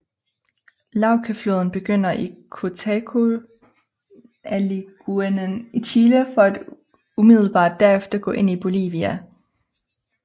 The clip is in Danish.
Laucafloden begynder i Cotacotanilagunen i Chile for at umiddelbart derefter gå ind i Bolivia